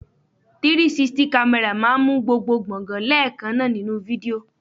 360 camera máa ń mú gbogbo gbongan leekanna nínú fídíò.